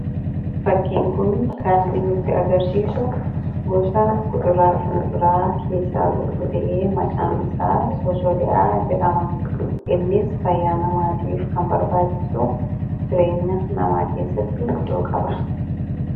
Fakkiin kun kan nutti agarsiisu gosa kuduraa fi muduraa keessaa tokko ta'ee, maqaan isaa fosoliyaa jedhama. Innis fayyaa namaatiif kan barbaachisu ,jireenya namaa keessatti iddoo guddaa qaba.